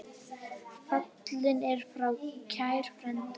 Fallinn er frá kær frændi.